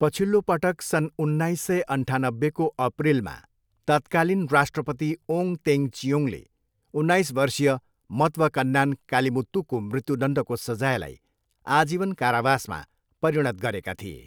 पछिल्लो पटक सन् उन्नाइस सय अन्ठानब्बेको अप्रिलमा तत्कालीन राष्ट्रपति ओङ तेङ चियोङले उन्नाइस वर्षीय मतवकन्नान कालिमुत्तूको मृत्युदण्डको सजायलाई आजीवन कारावासमा परिणत गरेका थिए।